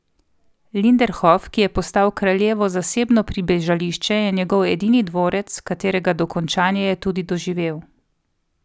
Linderhof, ki je postal kraljevo zasebno pribežališče, je njegov edini dvorec, katerega dokončanje je tudi doživel.